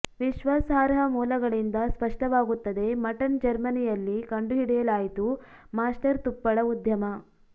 ವಿಶ್ವಾಸಾರ್ಹ ಮೂಲಗಳಿಂದ ಸ್ಪಷ್ಟವಾಗುತ್ತದೆ ಮಟನ್ ಜರ್ಮನಿಯಲ್ಲಿ ಕಂಡುಹಿಡಿಯಲಾಯಿತು ಮಾಸ್ಟರ್ ತುಪ್ಪಳ ಉದ್ಯಮ